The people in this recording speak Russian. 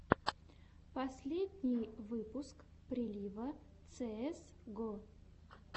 последний выпуск прилива цеэс го